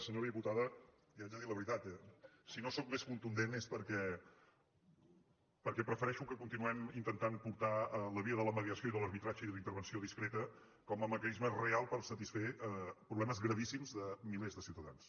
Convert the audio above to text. senyora diputada li haig de dir la veritat si no sóc més contundent és perquè prefereixo que continuem intentant portar la via de la mediació i de l’arbitratge i de la intervenció discreta com a mecanisme real per satisfer problemes gravíssims de milers de ciutadans